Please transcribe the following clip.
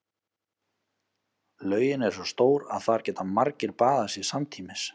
Laugin er svo stór að þar geta margir baðað sig samtímis.